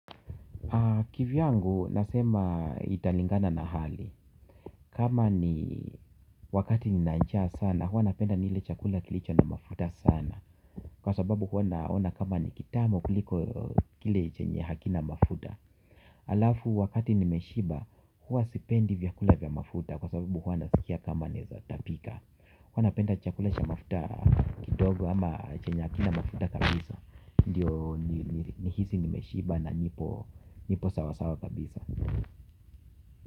Kivyangu nasema italingana na hali. Kama ni wakati nina njaa sana huwa napenda nile chakula kilicho na mafuta sana kwa sababu huwa naona kama ni kitamu kuliko kile chenye hakina mafuta. Halafu wakati nimeshiba huwa sipendi vyakula vya mafuta kwa sababu huwa nasikia kama naweza tapika. Huwa napenda chakula cha mafuta kidogo ama chenye hakina mafuta kabisa ndiyo nihisi nimeshiba na nipo sawasawa kabisa.